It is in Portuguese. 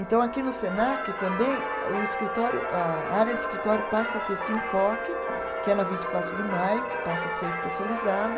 Então, aqui no Senac, também, o escritório, a área de escritório passa a ter esse enfoque, que é na vinte e quatro de maio, que passa a ser a especializada.